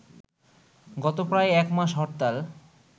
গত প্রায় এক মাস হরতাল